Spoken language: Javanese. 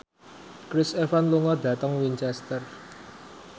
Chris Evans lunga dhateng Winchester